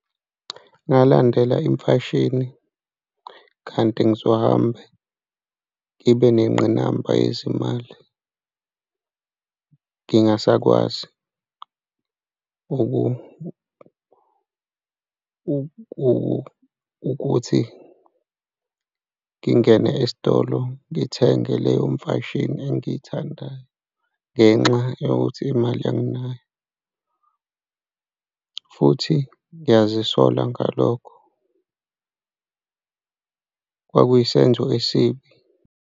Ngalandela imfashini kanti ngizohambe ngibe nengqinamba yezimali, ngingasakwazi ukuthi ngingene esitolo ngithenge leyo mfashini engiyithandayo ngenxa yokuthi imali anginayo futhi ngiyazisola ngalokho, kuyisenzo esibi.